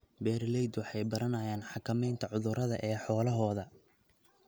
Beeraleydu waxay baranayaan xakameynta cudurrada ee xoolahooda.